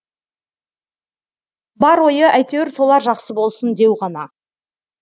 бар ойы әйтеуір солар жақсы болсын деу ғана